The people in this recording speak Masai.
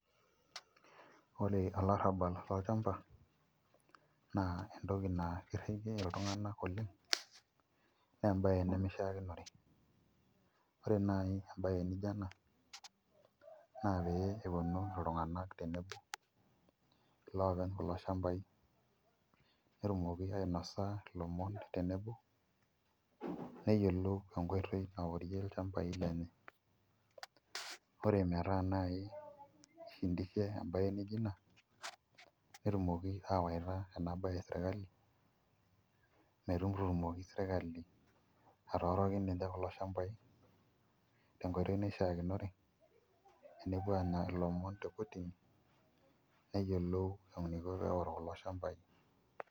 Ore olarrabal lolchamba naa entoki naa kirriki iltung'anak oleng' naa embaye nemishiakinore ore naai embaye nijio ena naa pee eponu iltung'anak tenebo iloopeny kulo shambai netumoki ainasa ilomon tenebo neyiolou enkoitoi naorie ilechambai lenye ore metaa naai ishindishe embaye naaijio ina netumoki aawaita ena baye sirkali metutumoki sirkali atooriki ninche kulo shambaai tenkoitoi naishiakinore enepuo aanya ilomon tekotini neyiolou eniko teneorr kulo shambai.